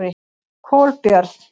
Kolbjörn